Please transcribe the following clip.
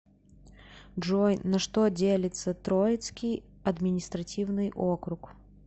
джой на что делится троицкий административный округ